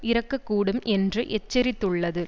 இறக்கக்கூடும் என்றும் எச்சரித்துள்ளது